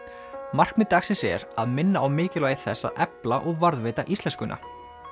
markmið dagsins er að minna á mikilvægi þess að efla og varðveita íslenskuna